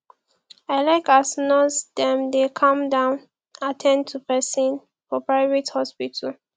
i like as nurse dem dey calm down at ten d to pesin for private hospital